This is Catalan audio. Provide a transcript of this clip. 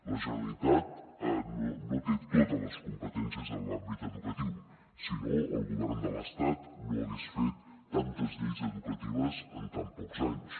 la generalitat no té totes les competències en l’àmbit educatiu si no el govern de l’estat no hagués fet tantes lleis educatives en tan pocs anys